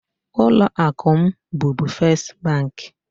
Ụlọ akụ m bubu Fes bank.